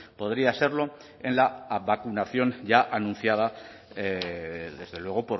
podría serlo en la vacunación ya anunciada desde luego